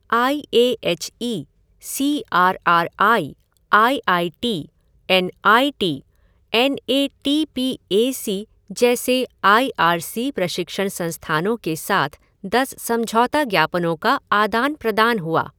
I A H E, C R R I, I I T, N I T, N A T P A C जैसे I R C प्रशिक्षण संस्थानों के साथ दस समझौता ज्ञापनों का आदान प्रदान हुआ।